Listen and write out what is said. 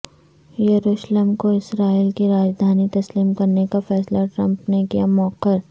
یروشلم کو اسرائیل کی راجدھانی تسلیم کرنے کا فیصلہ ٹرمپ نے کیا موخر